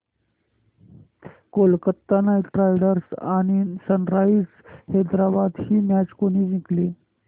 Kolkata Knight Riders आणि Sunrisers Hyderabad ही match कोणी जिंकली